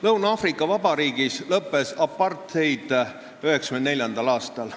Lõuna-Aafrika Vabariigis lõppes apartheid 1994. aastal.